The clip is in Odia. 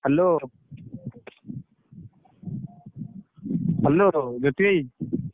Hello hello Jyoti!।